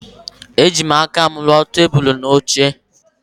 Ejim aka m ruo tebụl na oche.